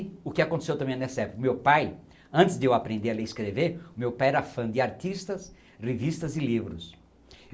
O que aconteceu também nessa época, o meu pai, antes de eu aprender a ler e escrever, o meu pai era fã de artistas, revistas e livros.